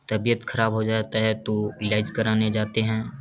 तबीयत खराब हो जाता है तो इलाज कराने जाते हैं।